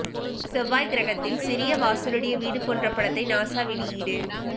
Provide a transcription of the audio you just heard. செவ்வாய் கிரகத்தில் சிறிய வாசல் உடைய வீடு போன்ற படத்தை நாசா வெளியீடு